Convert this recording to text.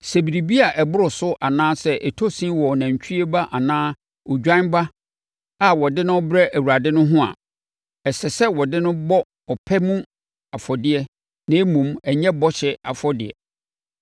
Sɛ biribi a ɛboro so anaa ɛtɔ sin wɔ nantwie ba anaa odwan ba a wɔde no rebrɛ Awurade no ho a, ɛsɛ sɛ wɔde no bɔ ɔpɛ mu afɔdeɛ na mmom, ɛnyɛ bɔhyɛ afɔdeɛ.